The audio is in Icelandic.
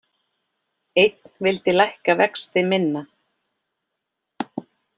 Einn vildi lækka vexti minna